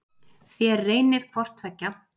Þér reynið hvort tveggja.